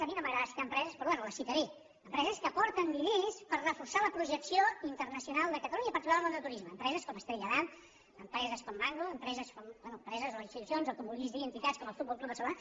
a mi no m’agrada citar empreses però bé les citaré empreses que aporten diners per reforçar la projecció internacional de catalunya i en particular el món del turisme empreses com estrella damm empreses com mango empreses bé empreses o institucions o com ho vulguis dir entitats com el futbol club barcelona